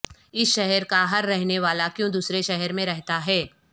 اس شہر کا ہر رہنے والا کیوں دوسرے شہر میں رہتا ہے